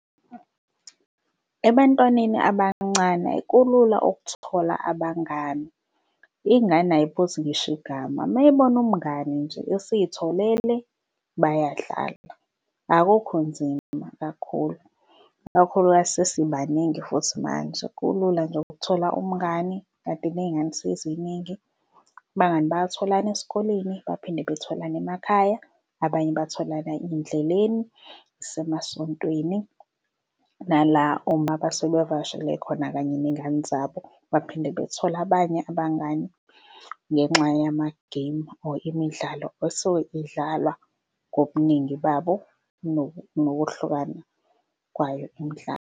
Ebantwaneni abancane kulula ukuthola abangani. Iy'ngane ay'buzi ngisho igama meyibona umngani nje esiyitholile bayadlala. Akukho nzima kakhulu, kakhulukazi sesibaningi futhi manje kulula nje ukuthola umngani, kanti ney'ngane seziningi abangani bayathola esikoleni baphinde bathola nasemakhaya. Abanye bathola ey'ndleleni isemasontweni nala uma sebevakashele khona kanye ney'ngane zabo baphinde bathole abanye abangani ngenxa yama-game or imidlalo esuke idlalwa ngobuningi babo nokuhlukana kwayo imidlalo.